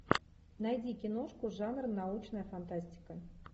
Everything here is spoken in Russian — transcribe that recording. найди киношку жанр научная фантастика